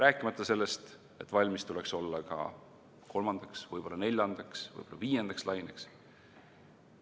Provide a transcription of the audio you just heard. Aga valmis tuleks olla ka kolmandaks, võib-olla neljandaks, võib-olla viiendaks laineks.